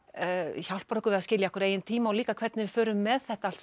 hjálpar okkur við að skilja okkar eigin tíma og líka hvernig við förum með þetta allt